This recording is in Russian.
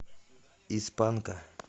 из панка